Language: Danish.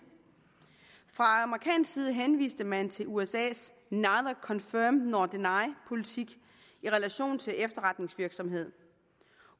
fra amerikansk side henviste man til usas neither confirm nor deny politik i relation til efterretningsvirksomhed